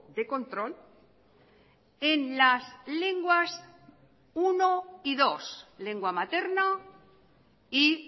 de control en las lenguas uno y dos lengua materna y